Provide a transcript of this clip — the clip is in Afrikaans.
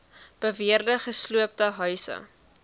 beweerde gesloopte huise